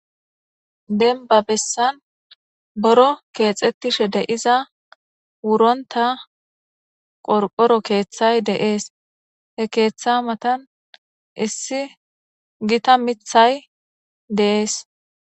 Denniba bessani buro kexetishshe de'iza wuronnotta qoriqoro keththayi de'ees.hee keththa matanni issi Gita miththayi de'ees.